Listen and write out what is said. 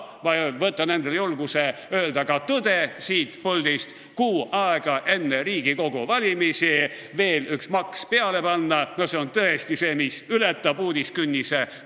Ma võtan endale julguse öelda siit puldist ka tõde: kuu aega enne Riigikogu valimisi veel üks maks peale panna – no see on tõesti see, mis ületab uudisekünnise.